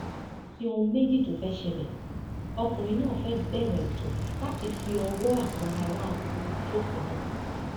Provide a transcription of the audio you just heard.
kò sí ohun méjì tó fẹẹ ṣẹlẹ ọkùnrin náà fẹẹ bẹrẹ ètò láti fi ọwọ àwọn ará kogi ṣòfò ni